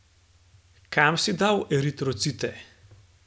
Kam si dal eritrocite?